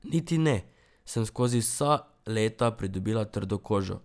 Niti ne, sem skozi vsa leta pridobila trdo kožo.